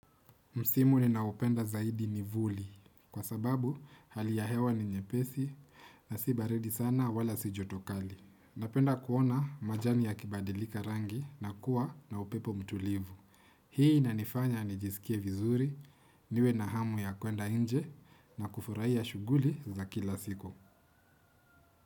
Msimu ninaoupenda zaidi ni vuli, kwa sababu hali ya hewa ni nyepesi na si baridi sana wala si joto kali. Napenda kuona majani yakibadilika rangi na kuwa na upepo mtulivu. Hii inanifanya nijisikie vizuri, niwe na hamu ya kuenda inje na kufurahia shughuli za kila siku.